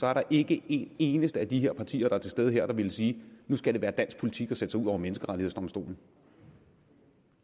er der ikke en eneste af de partier der er til stede her der ville sige nu skal det være dansk politik at sætte sig ud over menneskerettighedsdomstolen